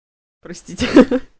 простите ха-ха